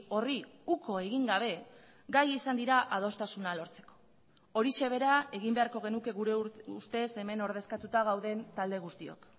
horri uko egin gabe gai izan dira adostasuna lortzeko horixe bera egin beharko genuke gure ustez hemen ordezkatuta gauden talde guztiok